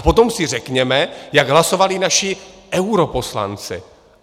A potom si řekněme, jak hlasovali naši europoslanci.